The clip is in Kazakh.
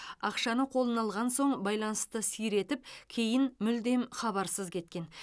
ақшаны қолына алған соң байланысты сиретіп кейін мүлдем хабарсыз кеткен